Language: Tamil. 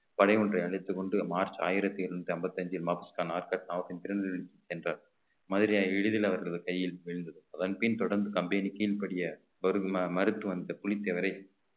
படை ஒன்றை அழைத்துக் கொண்டு மார்ச் ஆயிரத்தி இருநூத்தி ஐம்பத்தி அஞ்சில் என்றார் மதுரையை எளிதில் அவர்களது கையில் விழுந்தது அதன் பின் தொடர்ந்து company கீழ்ப்படிய மறுத்து வந்த புலித்தேவரை